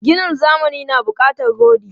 Ginin zamani na bukatar rodi.